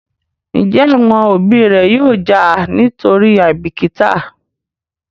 Njé àwọn òbí ré yóò já nítorí àìbìkítà?